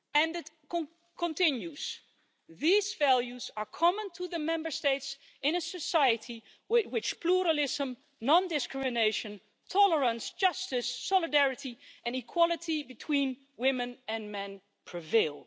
It continues these values are common to the Member States in a society in which pluralism, non-discrimination, tolerance, justice, solidarity and equality between women and men prevail'.